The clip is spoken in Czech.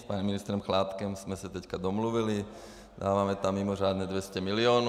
S panem ministrem Chládkem jsem se teď domluvili, dáváme tam mimořádně 200 milionů.